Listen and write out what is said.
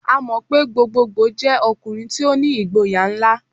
A mọ pe gbogbogboo jẹ ọkunrin ti o ni igboya nla.